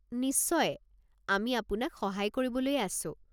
নিশ্চয়, আমি আপোনাক সহায় কৰিবলৈয়ে আছোঁ।